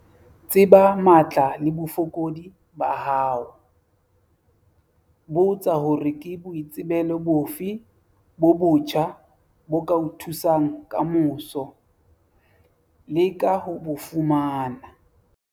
Tseba matla le bofokodi ba hao. Botsa hore ke boitsebelo bofe bo botjha bo ka o thusang ka moso, leka ho bo fumana.